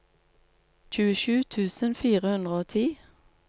tjuesju tusen fire hundre og ti